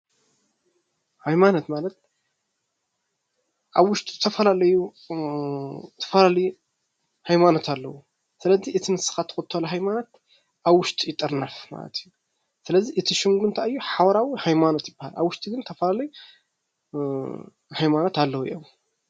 ሃይማኖት ማለት ኣብ ውሽጡ ዝተፈላለዩ ሃይማኖት ኣለው። ስለዚ እቲ ንስኻ እትኽተሎ ሃይማኖት ኣብ ውሽጢ ይጥርነፍ ማለት እዪ።